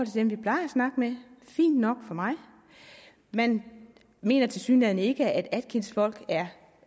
dem vi plejer snakke med fint nok for mig man mener tilsyneladende ikke at atkins folk er